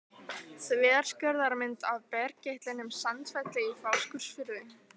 Þverskurðarmynd af bergeitlinum Sandfelli í Fáskrúðsfirði.